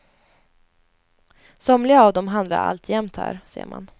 Somliga av dem handlar alltjämt här, ser man.